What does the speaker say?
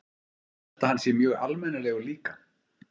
Ég held að hann sé mjög almennilegur líka.